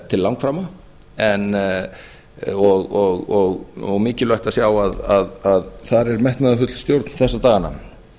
til langframa og mikilvægt að sjá að þar er metnaðarfull stjórn þessa dagana eins